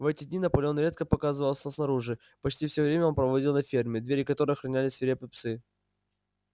в эти дни наполеон редко показывался снаружи почти всё время он проводил на ферме двери которой охраняли свирепые псы